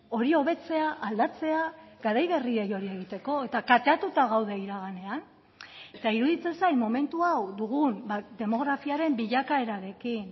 hori hobetzea aldatzea garai berriei hori egiteko eta kateatuta gaude iraganean eta iruditzen zait momentu hau dugun demografiaren bilakaerarekin